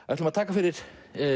ætlum að taka fyrir